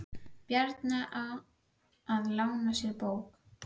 Bjarna á að lána sér bókina.